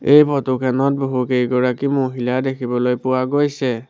এই ফটো খেনত বহুকেইগৰাকী মহিলা দেখিবলৈ পোৱা গৈছে।